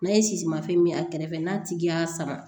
N'a ye sisi fɛn min a kɛrɛfɛ n'a tigi y'a sama